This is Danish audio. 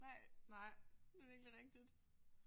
Nej det er virkelig rigtigt